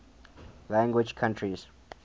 language countries